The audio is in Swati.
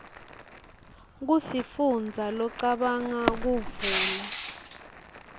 kusifundza locabanga kuvula